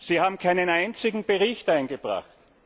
Sie haben keinen einzigen Bericht eingebracht.